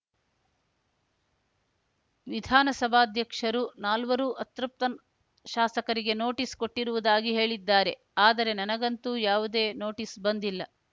ವಿಧಾನಸಭಾಧ್ಯಕ್ಷರು ನಾಲ್ವರು ಅತೃಪ್ತ ಶಾಸಕರಿಗೆ ನೋಟಿಸ್ ಕೊಟ್ಟಿರುವುದಾಗಿ ಹೇಳಿದ್ದಾರೆ ಆದರೆ ನನಗಂತೂ ಯಾವುದೇ ನೋಟಿಸ್ ಬಂದಿಲ್ಲ